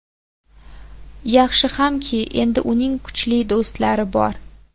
Yaxshi hamki, endi uning kuchli do‘stlari bor.